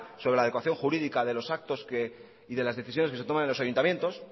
sobre la adecuación jurídica de los actos y de las decisiones que se toman en los ayuntamientos